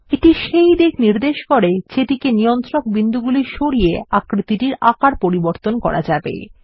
এটি সেই দিক নির্দেশ করে যেদিকে নিয়ন্ত্রণ বিন্দুগুলি সরিয়ে আকৃতির আকার পরিবর্তন করা যাবে